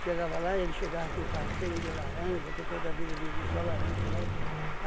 Chegava lá, ele chegava com um carro cheinho de laranja, que eu toda vida vendi só laranja, né?